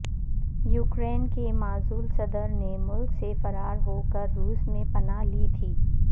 Ukraine کے معزول صدر نے ملک سے فرار ہو کر روس میں پناہ لی تھی